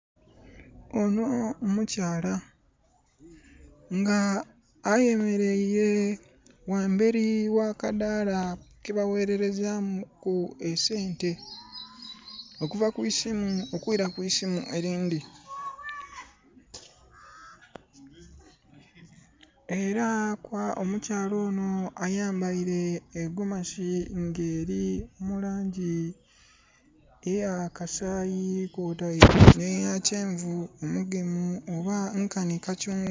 Ono mukyala nga ayemeleire wamberi w'akadaala kebawererezamu ku esente okuva ku isimu okwira ku isimu erindi. Era omukyala ono ayambaire egomasi nga eri mu langi eya kasayi kwotaire neya kyenvu omugemu oba nkani kakyungwa